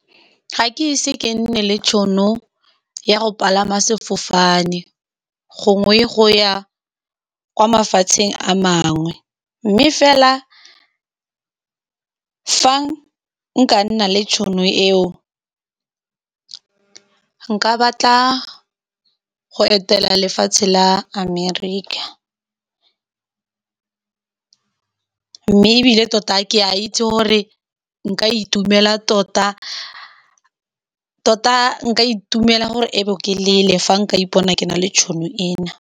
Ga ke ise ke nne le tšhono ya go palama sefofane gongwe go ya kwa mafatsheng a mangwe, mme fela, fa nka nna le tšhono eo, nka batla go etela lefatshe la America. Mme ebile tota ke a itse gore nka itumela tota-tota. Nka itumela gore e be ke lele fa nka ipona ke na le tšhono ena.